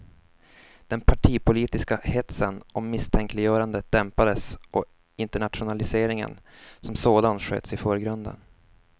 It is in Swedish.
Den partipolitiska hetsen och misstänkliggörandet dämpades och internationaliseringen som sådan sköts i förgrunden.